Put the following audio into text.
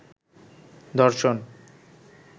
র্ধষণ